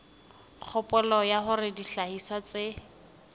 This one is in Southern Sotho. kgopolo ya hore dihlahiswa tse